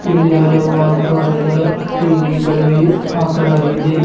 ಇಲ್ಲಿ ಹಲವು ಆಕಾರದ ಟಿ_ವಿ ಗಳು ಹಾಕಲಾಗಿದೆ.